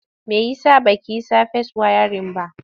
Me ya sa ba ki yi safes wayarin ba?